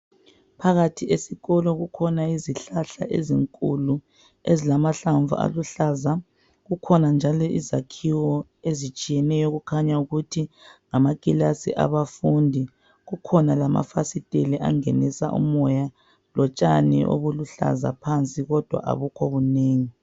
Phakathi esikolo kukhona izihlahla ezinkulu ezilamahlamvu aluhlaza kukhona njalo izakhiwo ezitshiyeneyo okukhanya ukuthi ngamakilasi abafundi kukhona lamafasiteli angenisa umoya lotshani obuluhlaza phansi kodwa abukho bunengi.